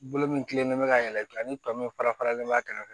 Bolo min tilenlen bɛ ka yɛlɛ ni tɔ min fara faralen b'a kɛrɛfɛ